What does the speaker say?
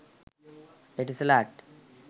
etisalat